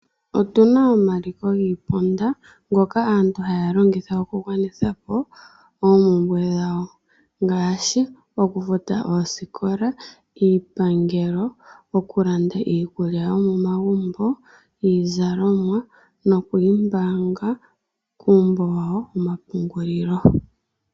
Otuna omaliko giiponda ngoka aantu haya longitha okugwanitha po oopumbwe dhawo ngaashi okufata oosikola, iipangelo, okulanda iikulya yomomagumbo, izalomwa nokwiiyimbanga kuumbo wa wo womapungulilo.